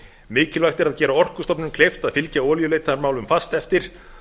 mikilvægt er að gera orkustofnun kleift að fylgja olíuleitarmálum fast eftir